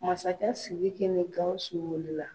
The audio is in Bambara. Masakɛ Siriki ni Gawusu wuli la.